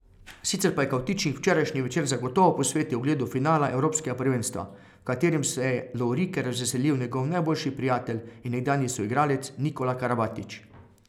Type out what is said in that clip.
Sicer pa je Kavtičnik včerajšnji večer zagotovo posvetil ogledu finala evropskega prvenstva, v katerem se je lovorike razveselil njegov najboljši prijatelj in nekdanji soigralec Nikola Karabatić.